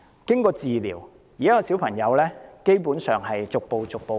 經過治療，現時小朋友基本上已逐步康復。